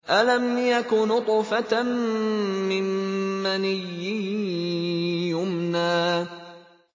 أَلَمْ يَكُ نُطْفَةً مِّن مَّنِيٍّ يُمْنَىٰ